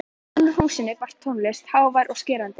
Innan úr húsinu barst tónlistin hávær og skerandi.